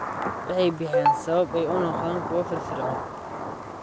Waxay bixiyaan sabab ay u noqdaan kuwo firfircoon.